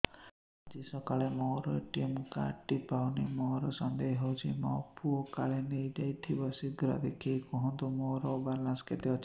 ଆଜି ସକାଳେ ମୋର ଏ.ଟି.ଏମ୍ କାର୍ଡ ଟି ପାଉନି ମୋର ସନ୍ଦେହ ହଉଚି ମୋ ପୁଅ କାଳେ ନେଇଯାଇଥିବ ଶୀଘ୍ର ଦେଖି କୁହନ୍ତୁ ମୋର ବାଲାନ୍ସ କେତେ ଅଛି